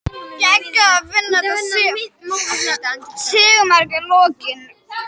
Geggjað að Finna þetta sigurmark í lokin!